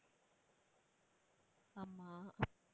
ஆமா